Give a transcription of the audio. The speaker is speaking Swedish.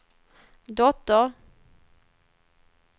dotter